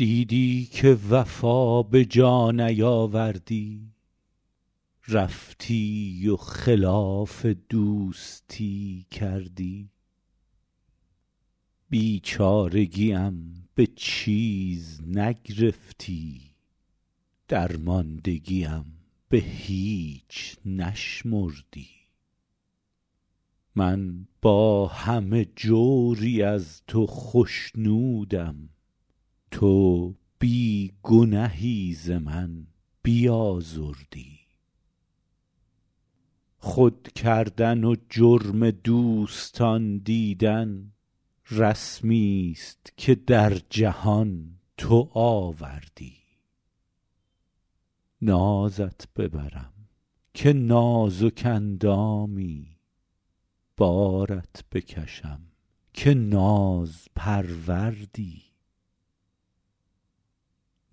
دیدی که وفا به جا نیاوردی رفتی و خلاف دوستی کردی بیچارگیم به چیز نگرفتی درماندگیم به هیچ نشمردی من با همه جوری از تو خشنودم تو بی گنهی ز من بیازردی خود کردن و جرم دوستان دیدن رسمیست که در جهان تو آوردی نازت ببرم که نازک اندامی بارت بکشم که نازپروردی ما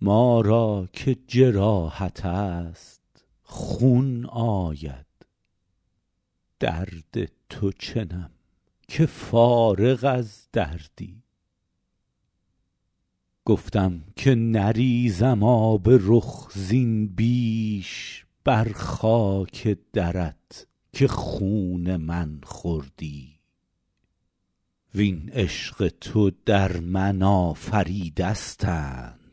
را که جراحت است خون آید درد تو چنم که فارغ از دردی گفتم که نریزم آب رخ زین بیش بر خاک درت که خون من خوردی وین عشق تو در من آفریدستند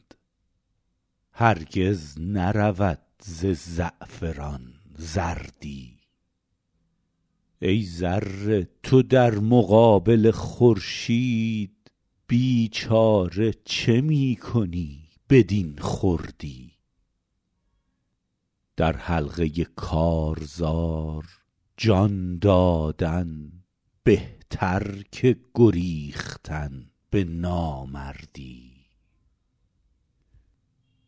هرگز نرود ز زعفران زردی ای ذره تو در مقابل خورشید بیچاره چه می کنی بدین خردی در حلقه کارزار جان دادن بهتر که گریختن به نامردی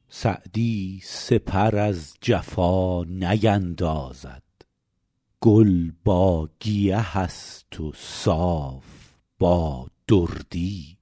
سعدی سپر از جفا نیندازد گل با گیه است و صاف با دردی